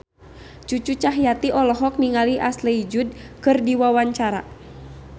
Cucu Cahyati olohok ningali Ashley Judd keur diwawancara